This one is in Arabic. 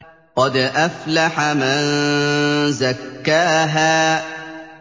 قَدْ أَفْلَحَ مَن زَكَّاهَا